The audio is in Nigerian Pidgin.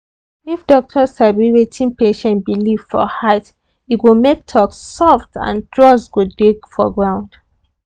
if doctor sabi wetin patient believe for heart e go make talk soft and trust go dey for ground.